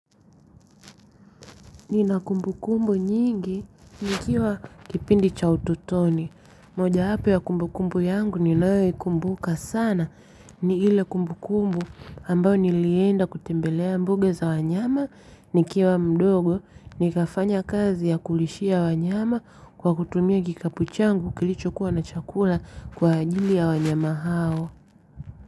Nina kumbukumbu nyingi nikiwa kipindi cha utotoni. Moja yapo ya kumbukumbu yangu ninayoikumbuka sana ni ile kumbukumbu ambayo nilienda kutembelea mbuga za wanyama nikiwa mdogo nikafanya kazi ya kulishia wanyama kwa kutumia kikapu changu kilichokuwa na chakula kwa ajili ya wanyama hao.